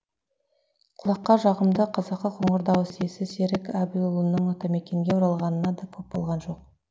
құлаққа жағымды қазақы қоңыр дауыс иесі серік әбілұлының атамекенге оралғанына да көп болған жоқ